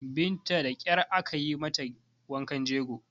Binta da ƙyar aka yi mata wankan jego